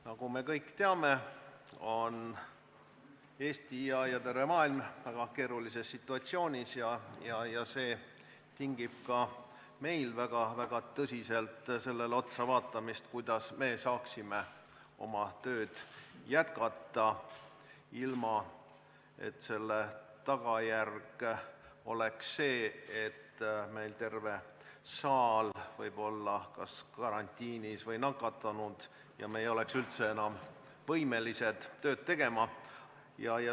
Nagu me kõik teame, on Eesti ja terve maailm väga keerulises situatsioonis ja see tingib ka meil väga tõsiselt sellele otsavaatamist, kuidas me saaksime oma tööd jätkata, ilma et tagajärg oleks see, et meil oleks terve saal kas karantiinis või nakatunud ja me ei oleks üldse enam võimelised tööd tegema.